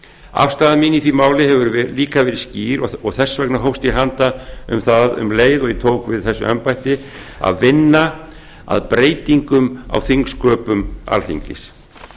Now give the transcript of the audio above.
afstaða mín í því máli hefur líka verið skýr og þess vegna hófst ég handa um það um leið og ég tók við þessu embætti að vinna að breytingum á þingsköpum alþingis